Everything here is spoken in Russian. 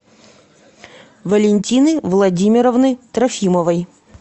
валентины владимировны трофимовой